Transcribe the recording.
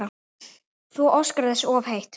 Þú óskar þess of heitt